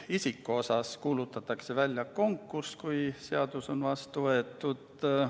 Isiku valimiseks kuulutatakse välja konkurss, kui seadus on vastu võetud.